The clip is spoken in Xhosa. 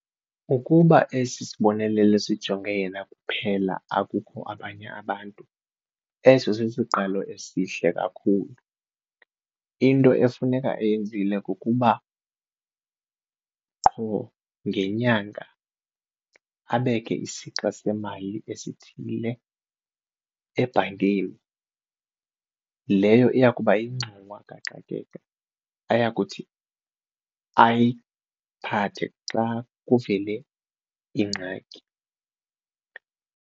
Ukuba esi sibonelelo sijonge yena kuphela akukho abanye abantu eso sisiqalo esihle kakhulu. Into efuneka eyenzile kukuba qho ngenyanga abeke isixa semali esithile ebhankeni, leyo iya kuba yingxowa kaxakeka ayakuthi ayiphathe xa kuvele ingxaki.